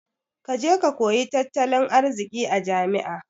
Kaje ka koyi tattalin arziki a jami'a